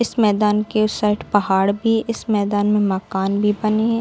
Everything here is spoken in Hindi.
इस मैदान के उस साइड पहाड़ भी इस मैदान में मकान भी बनी है।